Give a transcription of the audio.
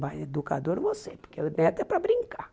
Mas educadora não vou ser, porque o neto é para brincar.